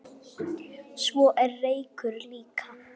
Svo er reykur líka.